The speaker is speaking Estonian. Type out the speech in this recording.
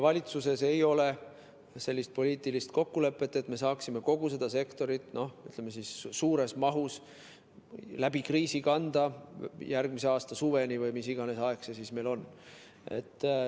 Valitsuses ei ole poliitilist kokkulepet, et me saaksime kogu seda sektorit, ütleme, suures mahus läbi kriisi kanda järgmise aasta suveni või mis iganes aeg siis on.